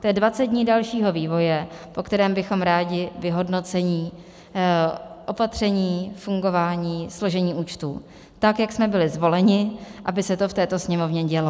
To je 20 dní dalšího vývoje, o kterém bychom rádi vyhodnocení opatření, fungování, složení účtů, tak jak jsme byli zvoleni, aby se to v této Sněmovně dělo.